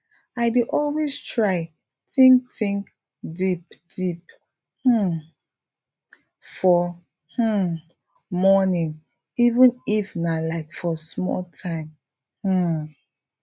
i dey always try think think deep deep um for um morning even if nah like for small time um